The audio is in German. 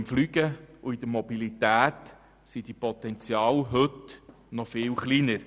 Beim Fliegen und bei der Mobilität sind diese Potenziale heute viel kleiner.